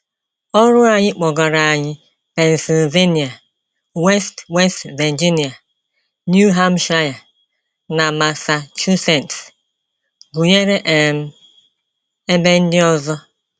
Ọru anyị kpọgara anyị Pennsylvania, West West Virginia, New Hampshire, na Massachusetts, gụnyere um ebe ndị ọzọ.